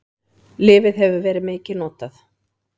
Lyfið hefur verið mikið notað.